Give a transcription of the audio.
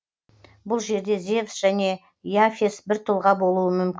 бұл жерде зевс және и афес бір тұлға болуы мүмкін